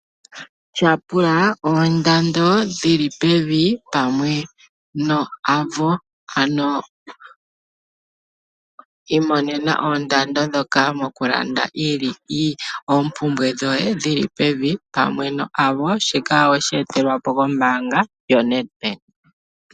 Tya pula ondando dhili pevi pamwe no Avo. Imonena oondando dhoka mokulanda ompumbwe dhoye dhili pevi pamwe no Avo shika weshi etelwapo ko mbanga yoNedbank.